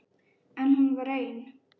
En hún var ein.